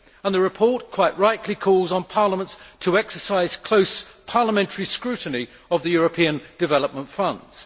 The report quite rightly calls on parliaments to exercise close parliamentary scrutiny of the European Development Funds.